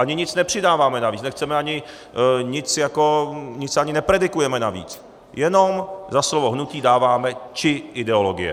Ani nic nepřidáváme navíc, ani nic nepredikujeme navíc, jenom za slovo "hnutí" dáváme "či ideologie".